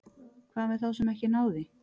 Hvað með þá sem ekki ná því?